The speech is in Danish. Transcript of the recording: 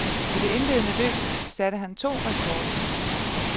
I det indledende løb satte han to rekorder.